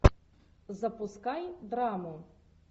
запускай драму